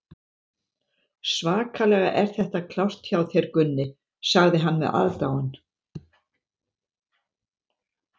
Svakalega er þetta klárt hjá þér, Gunni, sagði hann með aðdáun.